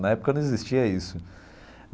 Na época não existia isso.